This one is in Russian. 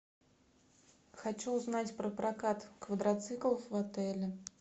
хочу узнать про прокат квадроциклов в отеле